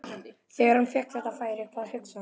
Þegar hann fékk þetta færi, hvað hugsaði hann?